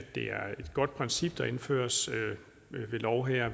det er et godt princip der indføres ved lov her